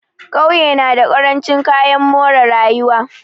Ƙauye na da ƙarancin kayan more rayuwa.